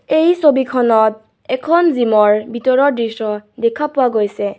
এই ছবিখনত এখন জিম ৰ ভিতৰৰ দৃশ্য দেখা পোৱা গৈছে।